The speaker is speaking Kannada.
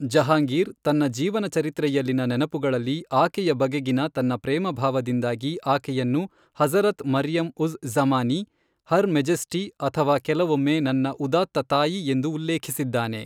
ಜಹಾಂಗೀರ್, ತನ್ನ ಜೀವನಚರಿತ್ರೆಯಲ್ಲಿನ ನೆನಪುಗಳಲ್ಲಿ ಆಕೆಯ ಬಗೆಗಿನ ತನ್ನ ಪ್ರೇಮಭಾವದಿಂದಾಗಿ ಆಕೆಯನ್ನು ಹಜ಼ರತ್ ಮರಿಯಂ ಉಜ಼್ ಜ಼ಮಾನಿ, ಹರ್ ಮೆಜೆಸ್ಟಿ ಅಥವಾ ಕೆಲವೊಮ್ಮೆ ನನ್ನ ಉದಾತ್ತ ತಾಯಿ ಎಂದು ಉಲ್ಲೇಖಿಸಿದ್ದಾನೆ.